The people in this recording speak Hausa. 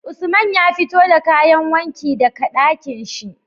Usman ya fito da kayan wanki daka Ɗakinshi